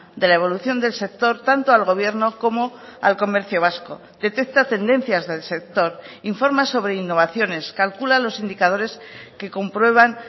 de la evolución del sector tanto al gobierno como al comercio vasco detecta tendencias del sector informa sobre innovaciones calcula los indicadores que comprueban